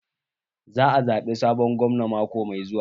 Za ayi zaɓe sabon gwamna mako mai zuwa.